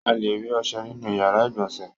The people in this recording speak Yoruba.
A le rí ọṣẹ nínú ìyàrá-ìgbọ̀nsẹ̀.